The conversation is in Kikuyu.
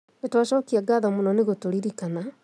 Nĩ twacokia ngatho mũno nĩ gũtũririkana